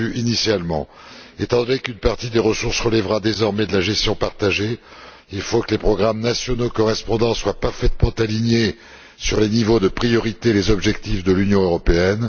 Étant donné qu'une partie des ressources relèvera désormais de la gestion partagée, il faudra que les programmes nationaux correspondants soient parfaitement alignés sur les niveaux de priorité et les objectifs de l'Union européenne.